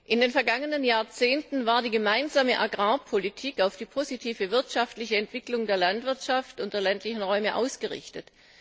In den vergangenen Jahrzehnten war die Gemeinsame Agrarpolitik auf die positive wirtschaftliche Entwicklung der Landwirtschaft und der ländlichen Räume ausgerichtet.